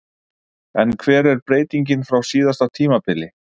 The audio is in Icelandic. En hver er breytingin frá síðasta tímabili?